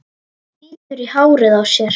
Bítur í hárið á sér.